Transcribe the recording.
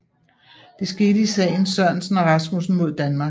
Det skete i sagen Sørensen og Rasmussen mod Danmark